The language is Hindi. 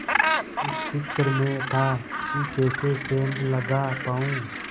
इस फिक्र में था कि कैसे सेंध लगा पाऊँ